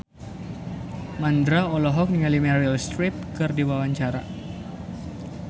Mandra olohok ningali Meryl Streep keur diwawancara